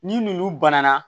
Ni n'olu banna